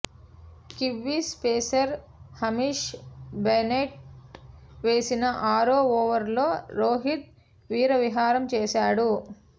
Kiwis pacer Hamish Bennett వేసిన ఆరో ఓవర్లో రోహిత్ వీరవిహారం చేసాడు